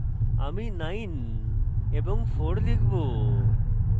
আমি 9 এবং 4 লিখব